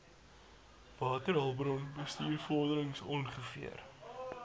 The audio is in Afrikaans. waterhulpbron bestuursvorderings ongeveer